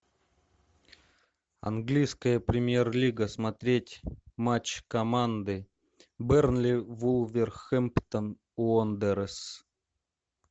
английская премьер лига смотреть матч команды бернли вулверхэмптон уондерерс